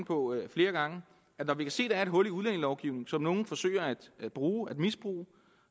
på flere gange at når vi kan se er et hul i udlændingelovgivningen som nogle forsøger at misbruge at misbruge